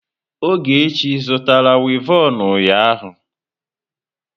Ogechi zụtara wivọnụ ụnyahụ?